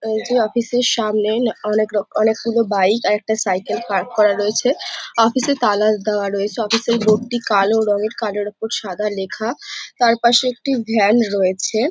এই যে অফিস এর সামনে অনেক রক অনেক গুলো বাইক আর একটা সাইকেল পার্ক করা রয়েছে অফিসে তালা দেওয়া রয়েছে অফিস এ বোর্ড টি কালো রঙের কালোর ওপর সাদা লেখা তারপাশে একটি ভ্যান রয়েছে ।